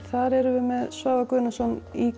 þar erum við með Svavar Guðnason í